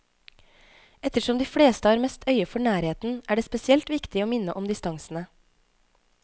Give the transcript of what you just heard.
Ettersom de fleste har mest øye for nærheten, er det spesielt viktig å minne om distansene.